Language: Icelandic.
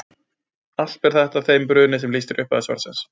Allt ber þetta að þeim brunni sem lýst er í upphafi svarsins.